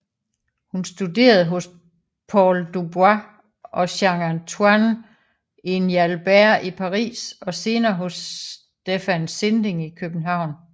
Hun studerede hos Paul Dubois og Jean Antoine Injalbert i Paris og senere hos Stephan Sinding i København